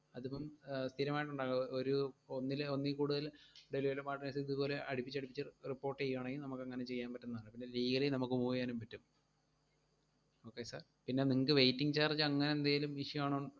അതിപ്പം ആഹ് സ്ഥിരമായിട്ട് ഉണ്ടാവുക, ഒരു ഒന്നില് ഒന്നിൽ കൂടുതൽ delivery partners ഇതുപോലെ അടുപ്പിച്ചടുപ്പിച്ചു report ചെയ്യുവാണെങ്കിൽ നമ്മക്കങ്ങനെ ചെയ്യാൻ പറ്റുന്നതാണ്, പിന്നെ legally നമുക്ക് move എയ്യാനും പറ്റും okay sir പിന്നെ നിങ്ങക്ക് waiting charge അങ്ങനെ എന്തേലും issue ആണോന്ന്